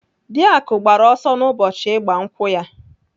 Dị Akụ gbara ọsọ n'ụbọchị ịgba nkwụ ha.